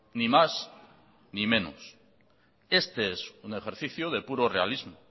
ni más ni menos este es un ejercicio de puro realismo